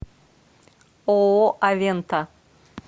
ооо авента